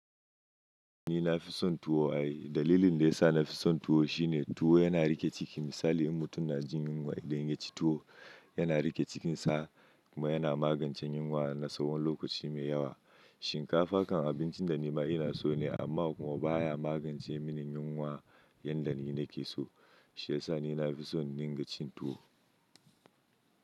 Ni na fi son tuwo ayi. Dalilin da ya sa na fi son tuwo shine tuwo yana riƙe ciki. Misali in mutum na jin yunwa idan ya ci tuwo yana riƙe cikin sa kuma yana magance yunwa na tsawon lokaci mai yawa. Shinkafa kan abincin da ni ma ina so ne amma kuma baya magance mini yunwa yanda ni nake so. Shi ya sa ni na fi son ni ga cin tuwo.